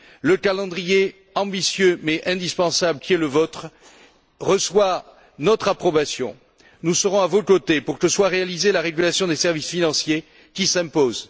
Le calendrier ambitieux, mais indispensable, qui est le vôtre, reçoit notre approbation. Nous serons à vos côtés pour que soit réalisée la régulation des services financiers qui s'impose.